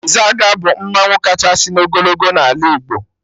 Izaga bụ mmanwụ kachasị n'ogologo n'ala Igbo